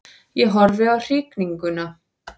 Ég horfði á hringinguna.